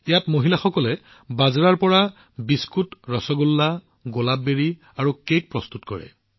ইয়াত মহিলাসকলে বাজৰাৰ পৰা বিভিন্ন ধৰণৰ খাদ্য তৈয়াৰ কৰি আছে কুকিজ ৰসগোল্লা গুলাব জামুন আৰু আনকি কেকক পৰ্যন্তও